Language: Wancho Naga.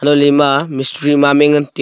untohley ema mistri mistri mamai ngan taiya.